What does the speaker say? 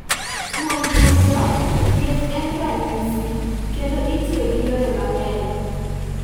Kuom duto, thieth en ranyisi, kendo itiyo gi yore mang�eny.